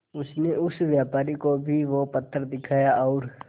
उनसे उस व्यापारी को भी वो पत्थर दिखाया और